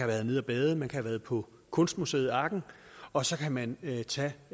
været nede at bade man kan have været på kunstmuseet arken og så kan man tage tage